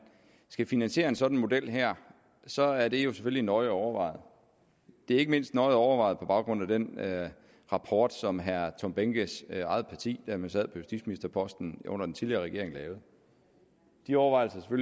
skal finansiere en sådan model her så er det jo selvfølgelig nøje overvejet det er ikke mindst nøje overvejet på baggrund af den rapport som herre tom behnkes eget parti da man sad på justitsministerposten under den tidligere regering de overvejelser er